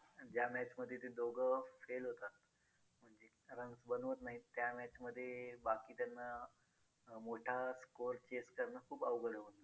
आहे ना face cream आहे. face wash आहे. mass आहे. mass कस आपण आठवड्यातनं एकदाच वापरतो पण face cream आणि साबण हे daily वापरतो. दररोज वापरण्यातले आहेत. हे product